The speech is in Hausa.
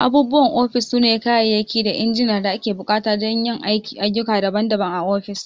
Abubuwan ofis sune kayayyaki da injina da ake buƙata don yin ayyuka daban-daban a ofis.